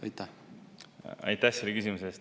Aitäh selle küsimuse eest!